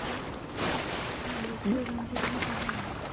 না youtube এ গান চলালে হবে না